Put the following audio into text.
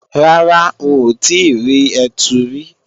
Rárá, n ò tíì rí ẹtu rí